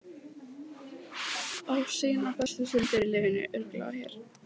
Á sínar bestu stundir í lífinu örugglega hér.